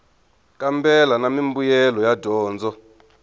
kambela na mimbuyelo ya dyondzo